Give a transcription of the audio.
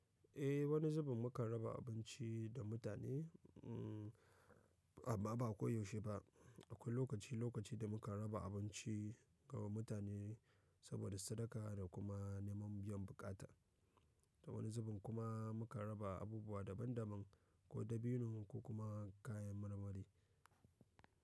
Eh wani zubin mukan raba abinci da mutane, amma ba koyaushe ba. Akwai lokaci lokaci da mukan raba abinci ga mutane saboda sadaka da kuma neman biyan bukata. Ta wani zubin kuma mukan raba abubuwa daban daban ko dabino ko kuma kayan marmari.